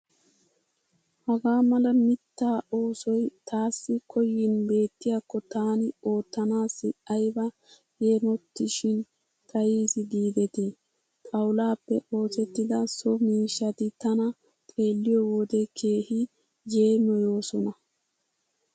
Hagaa mala mittaa oosoy taassi koyin beettiyakko taani oottanaassi ayba yeemotishin xayis giidet. Xawullaappe oosettida so miishshati tana xeelliyo wode keehi yeemoyoosona.